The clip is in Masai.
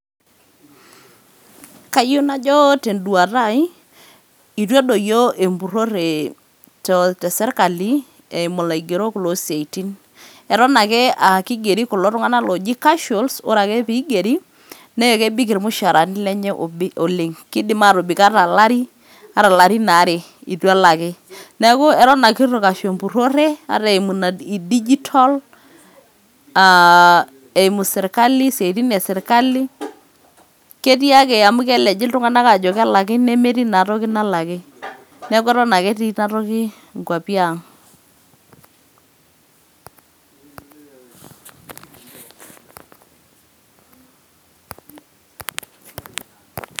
Kayieu najo teduata ai, itu edoyio empurrore tesirkali eimu ilaigerok lo siaitin. Eton ake akigeri kulo tung'anak oji casuals ,ore ake pigeri, na kebik irmushaarani lenye oleng'. Kidim atobik ata alari, ata larin aare itu elaki. Neeku eton ake itu kashu empurrore eimu ina digital, ah eimu sirkali, isiaitin esirkali, ketii ake amu keleji iltung'anak ajo kelaki, nemetii naa toki nalaki. Neeku eton ake etii inatoki inkwapi ang'.